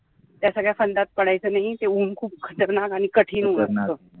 त्या सगळ्या फंद्यात पडायचं नाही ते ऊन खूप खतरनाक आणि कठीण होतं